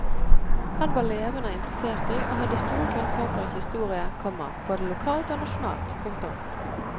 Han var levande interessert i og hadde store kunnskapar i historie, komma både lokalt og nasjonalt. punktum